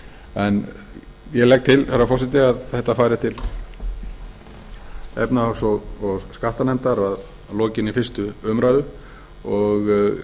það ég legg til herra forseti að þetta fari til efnahags og skattanefndar að lokinni fyrstu umræðu og